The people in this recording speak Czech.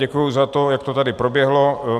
Děkuji za to, jak to tady proběhlo.